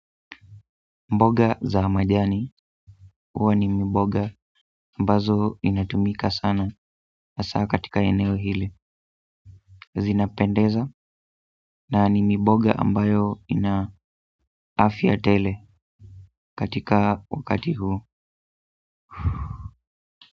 Mboga za majani huwa ni mboga ambazo inatumika sana hasaa katika eneo hili. Zinapendeza na ni miboga ambayo ina afya tele katika wakati huu.